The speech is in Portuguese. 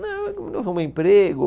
Não, arrumei emprego.